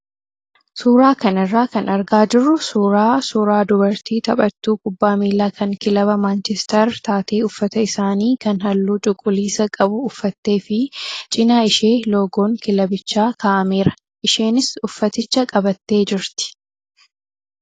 Suuraa kanarraa kan argaa jirru suuraa suuraa dubartii taphattuu kubbaa miilaa kan kilaba maanchestar taatee uffata isaanii kan halluu cuquliisa qabu uffattee fi cinaa ishee loogoon kilabichaa kaa'ameera. Isheenis uffaticha qabattee jirti.